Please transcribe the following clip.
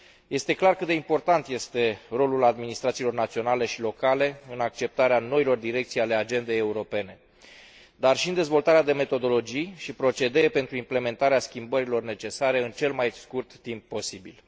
Este clar cât de important este rolul administrațiilor naționale și locale în acceptarea noilor direcții ale agendei europene, dar și în dezvoltarea de metodologii și procedee pentru implementarea schimbărilor necesare în cel mai scurt timp posibil.